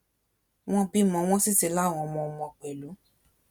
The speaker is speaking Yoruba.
wọn bímọ wọn sì ti láwọn ọmọọmọ pẹlú